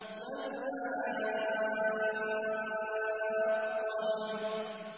مَا الْحَاقَّةُ